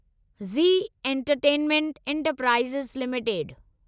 Zee entertainment enterprises limited